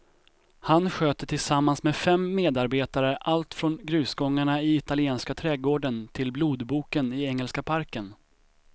Han sköter tillsammans med fem medarbetare allt från grusgångarna i italienska trädgården till blodboken i engelska parken.